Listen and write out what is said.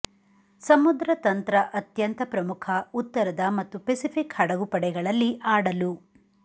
ಸಮುದ್ರ ತಂತ್ರ ಅತ್ಯಂತ ಪ್ರಮುಖ ಉತ್ತರದ ಮತ್ತು ಪೆಸಿಫಿಕ್ ಹಡಗುಪಡೆಗಳಲ್ಲಿ ಆಡಲು